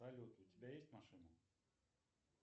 салют у тебя есть машина